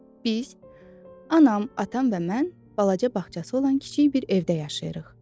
Biz, anam, atam və mən balaca bağçası olan kiçik bir evdə yaşayırıq.